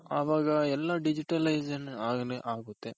ಅವಾಗ ಎಲ್ಲ digitalization ಆಗೇ ಆಗುತ್ತೆ